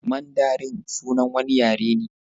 Mandarin sunan wani yare ne.